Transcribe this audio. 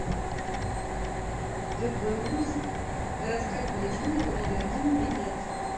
гбуз городская поликлиника номер один билет